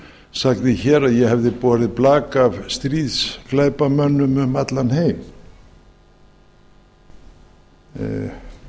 sagði hér að ég hefði borið blak af stríðsglæpamönnum um allan heim nú